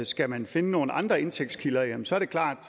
skal man finde nogle andre indtægtskilder jamen så er det klart at